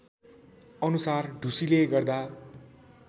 अनुसार ढुसीले गर्दा